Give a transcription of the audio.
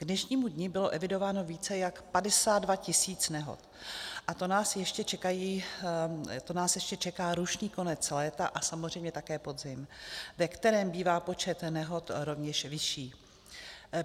K dnešnímu dni bylo evidováno více jak 52 tisíc nehod, a to nás ještě čeká rušný konec léta a samozřejmě také podzim, ve kterém bývá počet nehod rovněž vyšší.